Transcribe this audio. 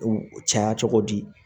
U caya cogo di